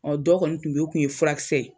Ɔ dɔ kɔni tun bɛ yen ,o kɔni tun ye furakisɛ ye.